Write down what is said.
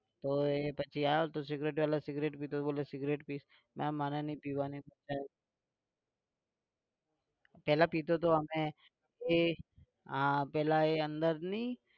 તો પછી આવ્યો તો security વાળા સિગરેટ પિતા હતો બોલે સિગરેટ પીશ? ના મારે નહીં પીવાની પહેલા પીતો હતો હવે એ આ પહેલા એ અંદરની